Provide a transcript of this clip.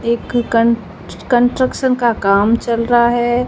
एक कन्ट कंट्रक्शन का काम चल रहा है।